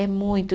É muito.